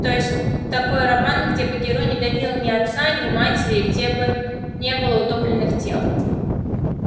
то есть такой роман где бы герой не давил ни отца ни матери где бы не было утопленных тел